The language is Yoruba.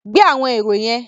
Gbé àwọn èrò yẹn.